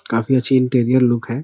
काफी अच्छी interior look है।